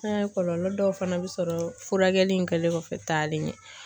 An ye kɔlɔlɔ dɔw fana bɛ sɔrɔ furakɛli in kɛlen kɔfɛ taale.